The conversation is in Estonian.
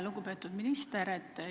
Lugupeetud minister!